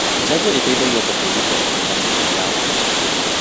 jajo ĩteithagia atĩa kũĩgitĩra kumà mĩrĩmũ ya ũgwati?